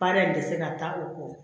Baara in tɛ se ka taa o kɔ